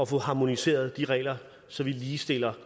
få harmoniseret de regler så vi ligestiller